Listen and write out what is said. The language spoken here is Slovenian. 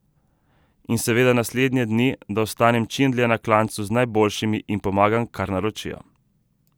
In seveda naslednje dni, da ostanem čim dlje na klancu z najboljšimi in pomagam, kar naročijo.